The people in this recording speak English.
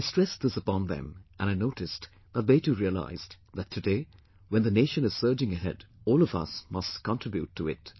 I stressed this upon them and I noticed that they too realized that today when the nation is surging ahead, all of us must contribute to it